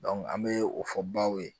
an bɛ o fɔ baw ye